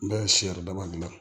N bɛ siyan daba dilan